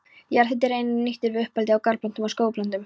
Jarðhiti er einnig nýttur við uppeldi á garðplöntum og skógarplöntum.